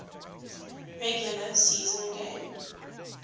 regular season game